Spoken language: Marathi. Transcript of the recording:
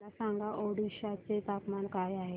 मला सांगा ओडिशा चे तापमान काय आहे